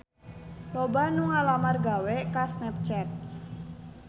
Loba anu ngalamar gawe ka Snapchat